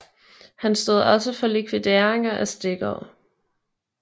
Han stod også for likvideringer af stikkere